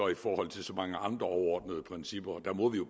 i forhold til så mange andre overordnede principper og der må vi jo